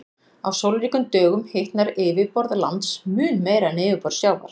Á sólríkum dögum hitnar yfirborð lands mun meira en yfirborð sjávar.